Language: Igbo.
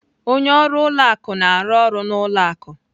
Onye ọrụ ụlọ akụ na-arụ ọrụ n'ụlọ akụ.